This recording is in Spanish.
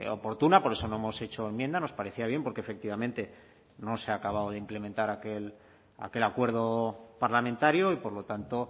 oportuna por eso no hemos hecho enmienda nos parecía bien porque efectivamente no se ha acabado de implementar aquel acuerdo parlamentario y por lo tanto